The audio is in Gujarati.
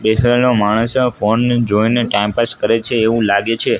માણસો ફોન ને જોઈને ટાઇમ પાસ કરે છે એવું લાગે છે.